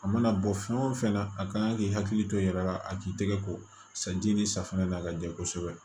A mana bɔ fɛn o fɛn na a kan k'i hakili to i yɛrɛ la a k'i tɛgɛ ko safinɛ ye ni safunɛ na a ka jɛ kosɛbɛ